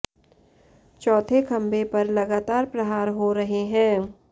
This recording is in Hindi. चौथे खंभे पर लगातार प्रहार हो रहे हैं